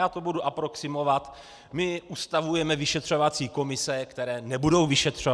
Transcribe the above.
Já to bude aproximovat: my ustavujeme vyšetřovací komise, které nebudou vyšetřovat!